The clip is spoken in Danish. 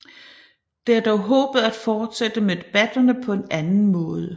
Det er dog håbet at fortsætte med debatterne på en anden måde